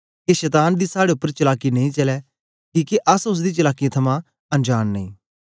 के शतान दी साड़े उपर चलाकी नेई चलै किके अस ओसदी चलाकीयें थमां अनजांन नेई